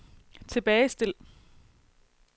tilbagestil